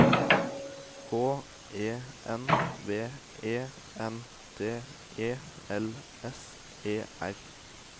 H E N V E N D E L S E R